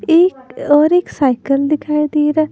एक और एक साइकिल दिखाई दे रहा है।